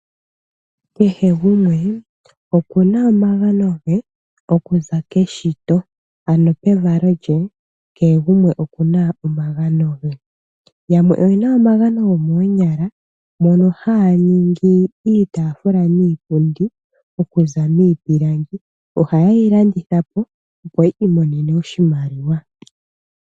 Kehe gumwe oku na omagano ge okuza keshito, ano pevalo lye kehe gumwe oku na omagano ge. Yamwe oye na omagano gomoonyala mono haya ningi iitafula niipundi okuza miipilangi, ohaye yi landithwapo opo yi imonene oshimaliwa.